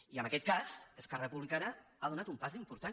i en aquest cas esquerra republicana ha donat un pas important